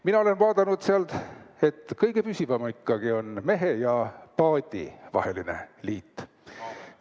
Mina olen vaadanud, et kõige püsivam ikkagi on mehe ja paadi vaheline liit.